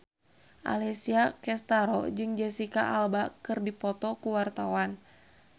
Alessia Cestaro jeung Jesicca Alba keur dipoto ku wartawan